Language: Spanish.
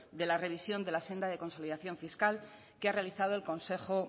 de la revisión de la senda de consolidación fiscal que ha realizado el consejo